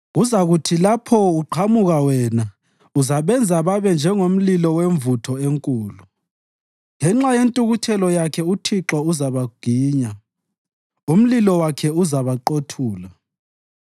Kuzakuthi lapho uqhamuka wena uzabenza babe njengomlilo wemvutho enkulu. Ngenxa yentukuthelo yakhe uThixo uzabaginya, umlilo wakhe uzabaqothula.